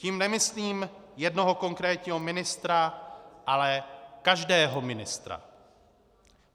Tím nemyslím jednoho konkrétního ministra, ale každého ministra.